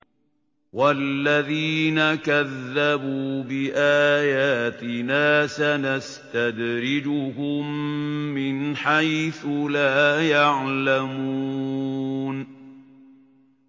وَالَّذِينَ كَذَّبُوا بِآيَاتِنَا سَنَسْتَدْرِجُهُم مِّنْ حَيْثُ لَا يَعْلَمُونَ